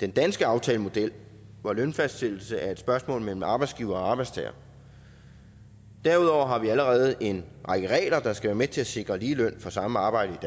den danske aftalemodel hvor lønfastsættelse er et spørgsmål mellem arbejdsgiver og arbejdstager derudover har vi allerede en række regler der skal være med til at sikre lige løn for samme arbejde